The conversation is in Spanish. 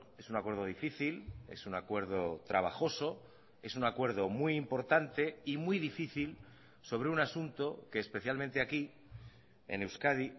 es un acuerdo difícil es un acuerdo trabajoso es un acuerdo muy importante y muy difícil sobre un asunto que especialmente aquí en euskadi